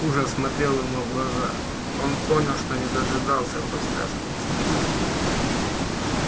ужас смотрел ему в глаза он понял что не дожидаясь подсказки инстинкта